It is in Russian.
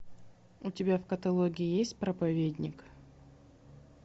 у тебя в каталоге есть проповедник